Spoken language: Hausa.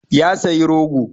Ya sayi rogo.